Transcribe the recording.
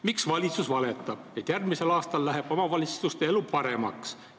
Miks valitsus valetab, et järgmisel aastal läheb omavalitsuste elu paremaks?